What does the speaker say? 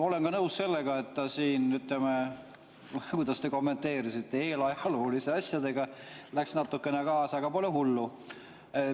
Olen nõus sellega, et ta siin, ütleme – kuidas te seda kommenteerisitegi –, eelajalooliste asjadega läks natukene kaasa, aga pole hullu.